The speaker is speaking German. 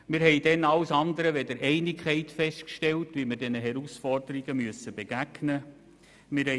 Wir stellten damals alles andere als Einigkeit fest bei der Frage, wie wir diesen Herausforderungen begegnen müssen.